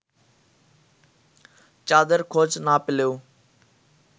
চাঁদের খোঁজ না পেলেও